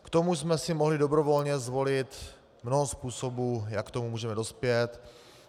K tomu jsme si mohli dobrovolně zvolit mnoho způsobů, jak k tomu můžeme dospět.